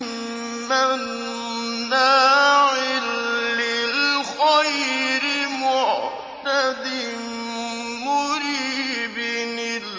مَّنَّاعٍ لِّلْخَيْرِ مُعْتَدٍ مُّرِيبٍ